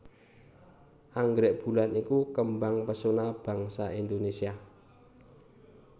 Anggrèk bulan iku kembang pesona bangsa Indonésia